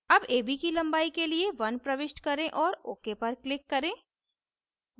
ab ab की लंबाई के लिए 1 प्रविष्ट करें और ok पर click करें